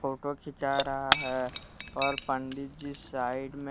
photo खींचा रहा है और पंडित जी साइड में--